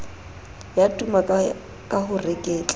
ya tuma ka ho reketla